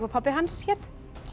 pabbi hans hét